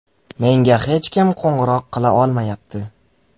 Menga hech kim qo‘ng‘iroq qila olmayapti.